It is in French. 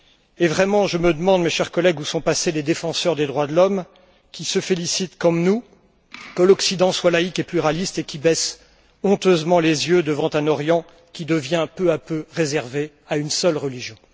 Et vraiment, je me demande, chers collègues, où sont passés les défenseurs des droits de l'homme, qui se félicitent, comme nous, que l'Occident soit laïc et pluraliste et qui baissent honteusement les yeux devant un Orient qui devient peu à peu réservé à une seule religion.